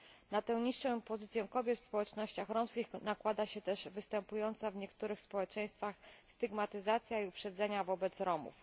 Na tę niższą pozycję kobiet w społecznościach romskich nakłada się też występująca w niektórych społeczeństwach stygmatyzacja i uprzedzenia wobec Romów.